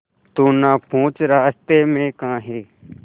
तू ना पूछ रास्तें में काहे